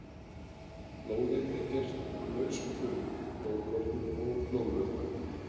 Blóðið er gert úr lausum frumum, blóðkornum og blóðvökva.